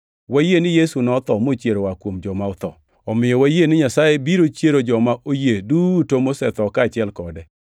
Wayie ni Yesu notho mochier oa kuom joma otho, omiyo wayie ni Nyasaye biro chiero jomo oyie duto mosetho kaachiel kode.